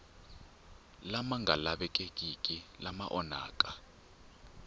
lama nga lavekeki lama onhaka